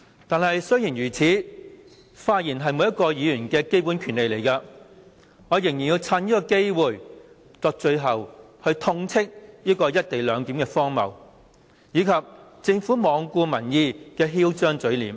儘管如此，由於發言是每位議員的基本權利，因此我仍要趁此機會作最後發言，痛斥"一地兩檢"的荒謬，以及政府罔顧民意的囂張嘴臉。